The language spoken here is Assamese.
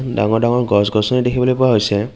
ডাঙৰ ডাঙৰ গছ-গছনি দেখিবলৈ পোৱা হৈছে।